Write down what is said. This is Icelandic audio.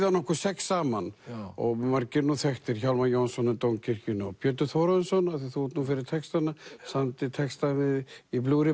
hann okkur sex saman og margir eru nú þekktir Hjálmar Jónsson í Dómkirkjunni og Pétur Þórarinsson af því þú ert nú fyrir textana samdi texta við í